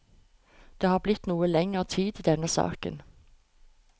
Det har blitt noe lenger tid i denne saken.